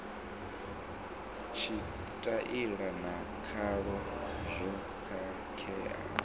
tshitaila na khalo zwo khakheaho